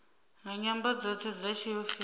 nga nyambo dzoṱhe dza tshiofisi